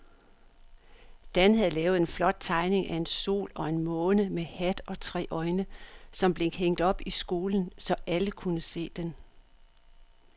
Dan havde lavet en flot tegning af en sol og en måne med hat og tre øjne, som blev hængt op i skolen, så alle kunne se den.